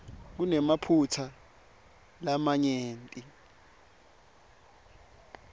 kunemaphutsa lamanyenti